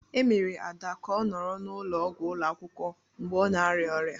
E mere Ada ka ọ nọrọ n'ụlọọgwụ ụlọ akwụkwọ mgbe ọ na-arịa ọrịa